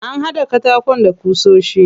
An haɗa katakon da ƙusoshi.